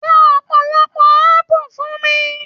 Ra ọpọlọpọ apu fún mí.